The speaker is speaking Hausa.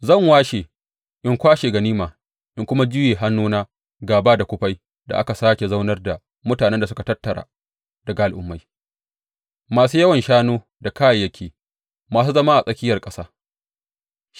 Zan washe in kwashe ganima in kuma juye hannuna gāba da kufai da aka sāke zaunar da mutanen da aka tattara daga al’ummai, masu yawan shanu da kayayyaki, masu zama a tsakiyar ƙasa.